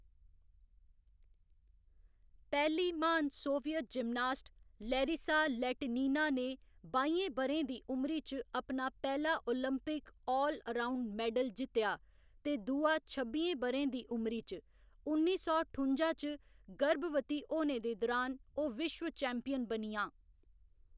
पैह्‌ली महान Soviet gymnast, Larisa Latynina ने बाइयें ब'रें दी उमरी च अपना पैह्‌‌ला ओलंपिक आल अराउंड मैडल जित्तेआ ते दूआ छब्बियें ब'रें दी उमरी च, उन्नी सौ ठुं'जा च गर्भवती होने दे दुरान ओह्‌‌ विश्व चैम्पियन बनियां।